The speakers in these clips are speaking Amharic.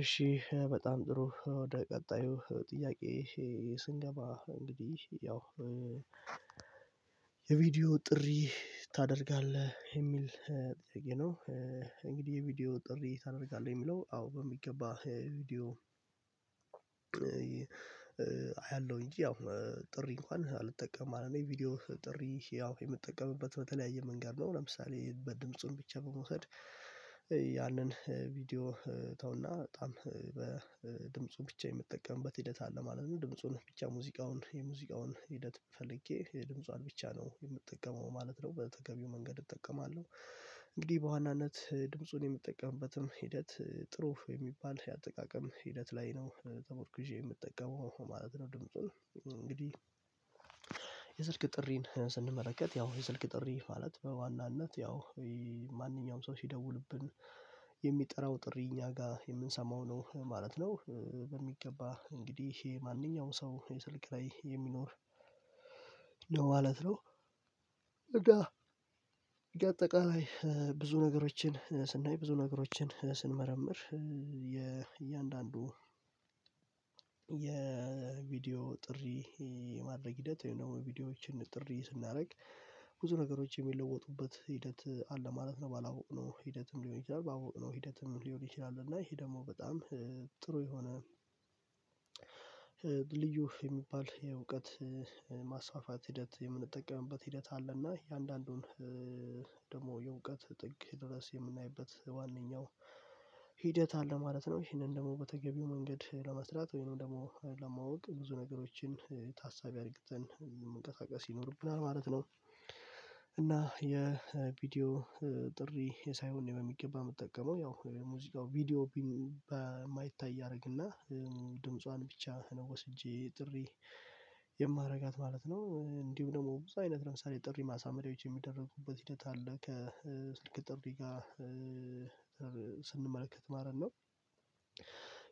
እሺ በጣም ጥሩ ወደ ቀጣዩ ጥያቄ? ስንገባ እንግዲህ ያው የቪዲዮ ጥሪ ታደርጋለህ የሚል ጥያቄ ነው። እንግዲህ የቪዲዮ ጥሪ ታደርጋለህ የሚለው አዎ በሚገባ ቪዲዮ። አያለሁኝ ያው ጥሪ እንኳን አልጠቀምም እኔ ቪዲዮው ጥሪ ያው የምጠቀምበት በተለያየ መንገድ ነው። ለምሳሌ በድምፁን ብቻ በመውሰድ ያንን ቪዲዮ ተውና በጣም በድምፁ ብቻ የምትጠቀምበት ሂደት አለ ማለት ነው። ድምፁን ብቻ ሙዚቃውን የሙዚቃውን ሂደት ፈልጌ የድምጿን ብቻ ነው የምትጠቀመው ማለት ነው በተገቢው መንገድ እጠቀማለሁ። እንግዲህ በዋናነት ድምፁን የምጠቀምበትም ሂደት ጥሩ የሚባል የአጠቃቀም ሂደት ላይ ነው ተመርኩዜ የምጠቀመው ማለት ነው። ድምጹን እንግዲህ የስልክ ጥሪን ስንመለከት ያው የስልክ ጥሪ ማለት በዋናነት ያው ማንኛውም ሰው ሲደውልብን የሚጠራው ጥሪ እኛ ጋር የምንሰማው ነው ማለት ነው። በሚገባ እንግዲህ ይሄ ማንኛውም ሰው የስልክ ላይ የሚኖር ማለት ነው። እና እንደ አጠቃላይ ብዙ ነገሮችን ስናይ ብዙ ነገሮችን ስንመረምር የእያንዳንዱ የቪዲዮ ጥሪ የማድረግ ሂደት ወይም ደግሞ ቪዲዮዎችን ጥሪ ስናደርግ ብዙ ነገሮች የሚለወጡበት ሂደት አለ ማለት ነው። ባላወቅነው ሂደትም ሊሆን ይችላል ባላወቅነው ሂደትም ሊሆን ይችላል። እና ይሄ ደግሞ በጣም ጥሩ የሆነ ልዩ የሚባል የእውቀት ማስፋፋት ሂደት የምንጠቀምበት ሂደት አለና የአንዳንዱን ደግሞ የእውቀት ጥግ ድረስ የምናይበት ዋነኛው ሂደት አለ ማለት ነው። ይሄንን ደግሞ በተገቢው መንገድ ለመስራት ወይንም ደግሞ ለማወቅ ብዙ ነገሮችን ታሳቢ አድርግተን መንቀሳቀስ ይኖርብናል ማለት ነው። እና የቪዲዮ ጥሪ የሳይሆን በሚገባ የምጠቀመው ያው የሙዚቃው ቪዲዮ በማይታይ አደርግና ድምጿን ብቻ ነው ወስጄ ጥሪ የማደርጋት ማለት ነው። እንዲሁ ደግሞ ብዙ አይነት ለምሳሌ ጥሪ ማሳመሪያዎች የሚደረጉበት ሂደት አለ ከስልክ ጥሪ ጋር ስንመለከት ማለት ነው።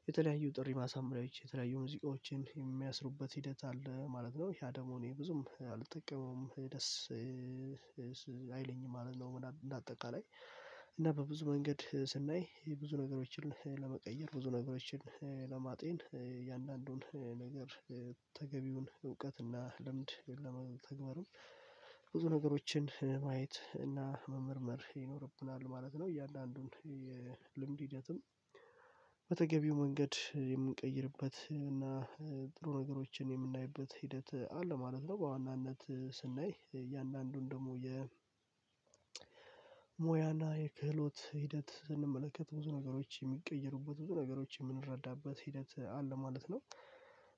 የተለያዩ ጥሪ ማሳመሪያዎች የተለያዩ ሙዚቃዎችን የሚያስሩበት ሂደት አለ ማለት ነው ያ ደግሞ እኔ ብዙም አልጠቀመውም ደስ ማለት ነው። እንደ አጠቃላይ እና በብዙ መንገድ ስናይ ብዙ ነገሮችን ለመቀየር ብዙ ነገሮችን ለማጤን የእያንዳንዱን ነገር ተገቢውን እውቀት እና ልምድ ወይም ደግሞ ተግባርም ብዙ ነገሮችን ማየት እና መመርመር ይኖርብናል ማለት ነው። እያንዳንዱን የልምድ ሂደትም በተገቢው መንገድ የምንቀይርበት እና ጥሩ ነገሮችን የምናይበት ሂደት አለ ማለት ነው። በዋናነት ስናይ እያንዳንዱን ደግሞ የ የሙያና የክህሎት ሂደት ስንመለከት ብዙ ነገሮች የሚቀይሩበት ብዙ ነገሮች የምንረዳበት ሂደት አለ ማለት ነው።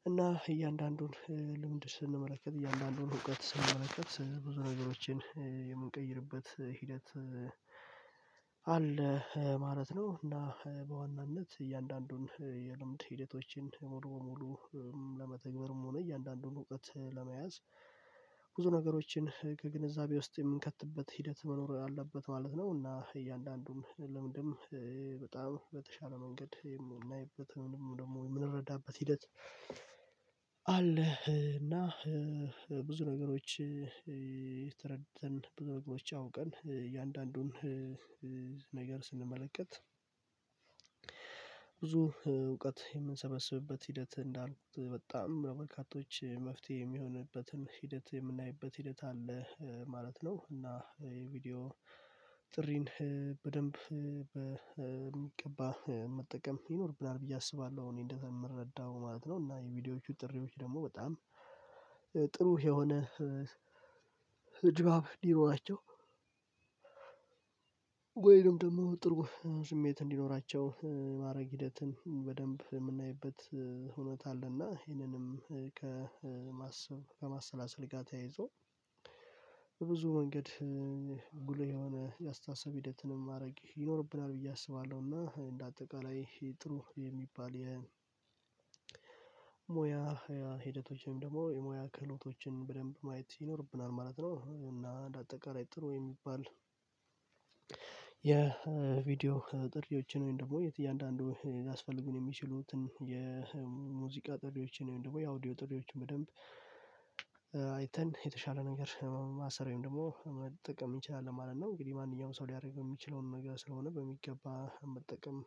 እና እያንዳንዱን ልምድ ስንመለከት እያንዳንዱን እውቀት ስንመለከት ብዙ ነገሮችን የምንቀይርበት ሂደት አለ ማለት ነው። እና በዋናነት እያንዳንዱን የልምድ ሂደቶችን ሙሉ በሙሉ ለመተግበርም ሆነ እያንዳንዱን እውቀት ለመያዝ ብዙ ነገሮችን ከግንዛቤ ውስጥ የምንከትበት ሂደት መኖር አለበት ማለት ነው። እና እያንዳንዱን ለምንድንም በጣም በተሻለ መንገድ የምናይበት ወይንም ደግሞ የምንረዳበት ሂደት አለ። እና ብዙ ነገሮች ተረድተን ብዙ ነገሮች አውቀን እያንዳንዱን ነገር ስንመለከት ብዙ እውቀት የምንሰበስብበት ሂደት እንዳልኩት በጣም ነው በርካቶች መፍትሄ የሚሆንበትም ሂደት የምናይበት ሂደት አለ ማለት ነው። እና የቪዲዮ ጥሪን በደንብ በሚገባ መጠቀም ይኖርብናል ብዬ አስባለሁ እኔ እንደምረዳው ማለት ነው። እና የቪዲዮዎቹ ጥሪዎች ደግሞ በጣም ጥሩ የሆነ ድባብ እንዲኖራቸው ወይንም ደግሞ ጥሩ ስሜት እንዲኖራቸው የማድረግ ሂደትን በደንብ የምናይበት እውነት አለና ይህንንም ከማሰብ ከማሰላሰል ጋር ተያይዞ ብዙ ወንገድ ጉልህ የሆነ የአስተሳሰብ ሂደትንም ማድረግ ይኖርብናል ብዬ አስባለሁ። እና እንደ አጠቃላይ ጥሩ የሚባል የሞያ ሂደቶችም ደግሞ የሞያ ክህሎቶችን በደንብ ማየት ይኖርብናል ማለት ነው። እና እንደ አጠቃላይ ጥሩ የሚባል የቪዲዮ ጥሪዎችን ወይም ደግሞ የት እያንዳንዱ ሊያስፈልጉን የሚችሉትን የሙዚቃ ጥሪዎችን ወይም ደግሞ የአውዲዮ ጥሪዎችን በደንብ አይተን የተሻለ ነገር ማሰር ወይም ደግሞ መጠቀም እንችላለን ማለት ነው። እንግዲህ ማንኛውም ሰው ሊያደርግ የሚችለውን ነገር ስለሆነ በሚገባ መጠቀም